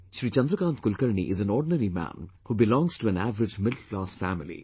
Shri Chandrakant Kulkarni is an ordinary man who belongs to an average middle class family